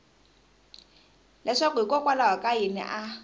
leswaku hikokwalaho ka yini a